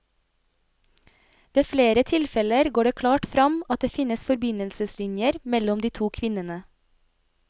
Ved flere tilfeller går det klart fram at det finnes forbindelseslinjer mellom de to kvinnene.